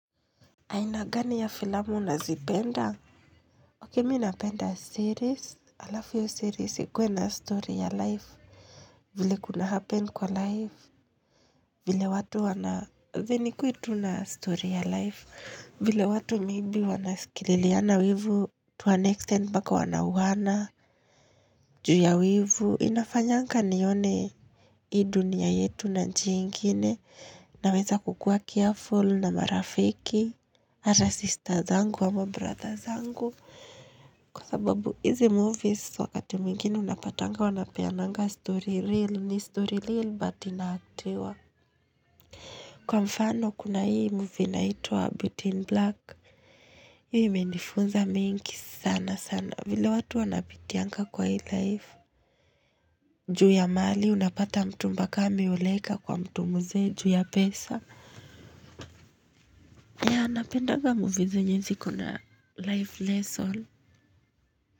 Aina gani ya filmu unazipenda? Okay, mimi napenda series. Alafu hoyo series ikuwe na story ya life. Vile kuna happen kwa life. Vile watu wana fe ikuwe tu na story ya life. Vile watu maybe wanaskililiana wivu. To an extent mpaka wanauana. Juu ya wivu. Inafanyanga nione hii dunia yetu na njia nyingine. Naweza kukua careful na marafiki. Hata sister zangu ama brother zangu kwa sababu hizi movies wakati mwingine unapatanga wanapeananga story real ni story real but inactiwa kwa mfano kuna hii movie inaitwa Beauty in Black Hii imenifunza mingi sana sana vile watu wanapitianga kwa hii life juu ya mali unapata mtu mpkaa ameoleka kwa mtu mzee juu ya pesa ya napendanga movies zenye ziko na life lessons.